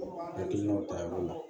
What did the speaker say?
Hakilinaw ta yɔrɔ la